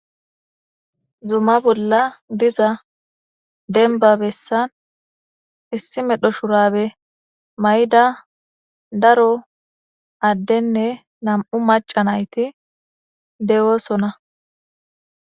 zuma bolla diza denbabessan issi medho shurabe may7da daro addenne nam7u maca nayti dewoosona